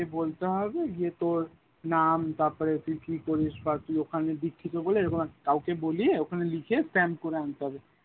গিয়ে বলতে হবে গিয়ে তোর নাম তার পরে তুই কি করিস বা ওখানে দীক্ষিত বলে এরকম কাউকে বলিয়ে ওখানে লিখে stamp করে আনতে হবে